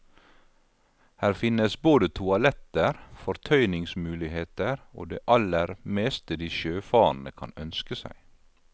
Her finnes både toaletter, fortøyningsmuligheter og det aller meste de sjøfarende kan ønske seg.